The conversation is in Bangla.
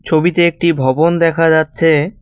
ছবিতে একটি ভবন দেখা যাচ্ছে।